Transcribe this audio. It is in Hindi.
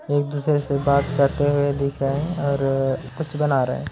एक दूसरे से बात करते हुए दिख रहे हैं और कुछ बना रहे हैं।